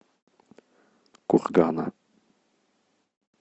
кургана